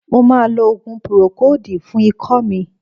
Mo ma lo òògùn púrókòòdù fún ikọ́ mi.